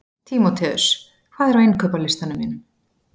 Tímoteus, hvað er á innkaupalistanum mínum?